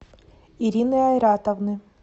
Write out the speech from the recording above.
ирины айратовны